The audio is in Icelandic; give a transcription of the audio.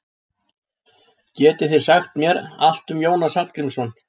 getið þið sagt mér allt um jónas hallgrímsson